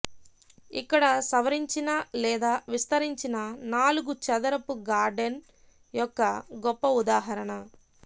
ఇక్కడ సవరించిన లేదా విస్తరించిన నాలుగు చదరపు గార్డెన్ యొక్క గొప్ప ఉదాహరణ